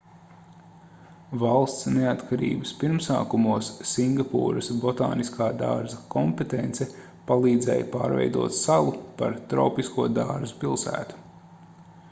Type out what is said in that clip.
valsts neatkarības pirmsākumos singapūras botāniskā dārza kompetence palīdzēja pārveidot salu par tropisko dārzu pilsētu